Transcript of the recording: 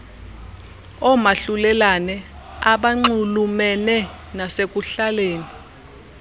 omahlulelane abanxulumene nasekuhlaleni